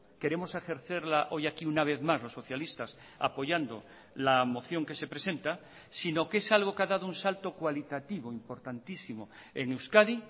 queremos ejercerla hoy aquí una vez más los socialistas apoyando la moción que se presenta sino que es algo que ha dado un salto cualitativo importantísimo en euskadi